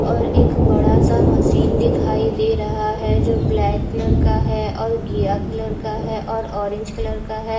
और एक बड़ा सा मशीन दिखाई दे रहा है जो ब्लैक कलर का है और गिया कलर का है और ओरेंज कलर का है।